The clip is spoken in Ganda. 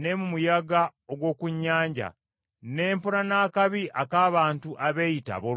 ne mu muyaga ogw’oku nnyanja, ne mpona n’akabi ak’abantu abeeyita abooluganda;